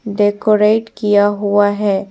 Decorate किया हुआ है।